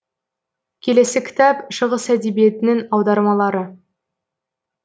келесі кітап шығыс әдебиетінің аудармалары